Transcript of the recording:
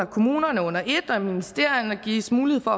kommunerne under et og i ministerierne gives mulighed for